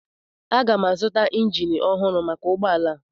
Aga m azụta injin ọhụrụ maka ụgbọ ala a.